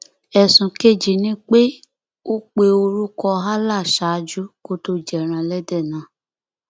ẹsùn kejì ni pé ó pe orúkọ allah ṣáájú kó tóó jẹrán ẹlẹdẹ náà